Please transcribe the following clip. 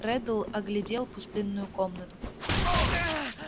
реддл оглядел пустынную комнату